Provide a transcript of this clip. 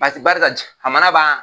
Paseke barisa jamana b'a